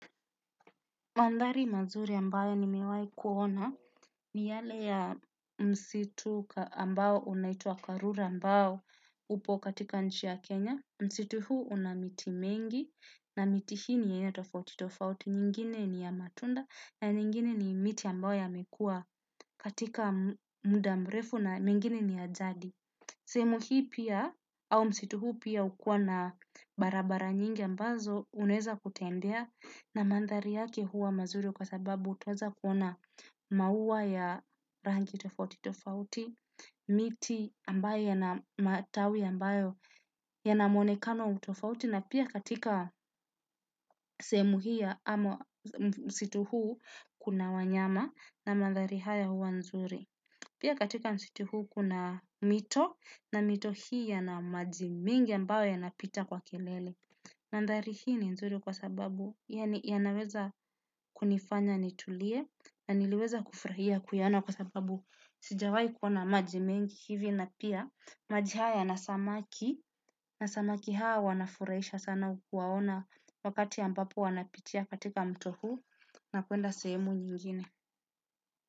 Mandhari mazuri ambayo nimewahi kuona ni yale ya msitu ambayo unaituwa karura ambayo upo katika nchi ya Kenya. Msitu huu una miti mengi na miti hii ni yenye tofauti tofauti. Nyingine ni ya matunda na nyingine ni miti ambayo yamekuwa katika muda mrefu na mengine ni ya jadi. Sehemu hii pia au msitu huu pia hukua na barabara nyingi ambazo unaweza kutembea na mandhari yake huwa mazuri kwa sababu utaweza kuona maua ya rangi tofauti tofauti, miti ambayo yana ambayo yanamuonekano tofauti na pia katika sehemu hii ya msitu huu kuna wanyama na mandhari haya huwa nzuri. Pia katika msitu huu kuna mito na mito hii yana maji mingi ambayo yanapita kwa kelele. Mandhari hii ni nzuri kwa sababu yanaweza kunifanya nitulie na niliweza kufurahia kuyaona kwa sababu sijawahi kuona maji mengi hivi na pia maji haya yana samaki. Na samaki hawa wanafurahisha sana kuwaona wakati ambapo wanapitia katika mto huu na kuenda sehemu nyingine.